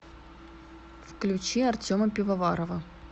включи артема пивоварова